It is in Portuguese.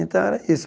Então, era isso.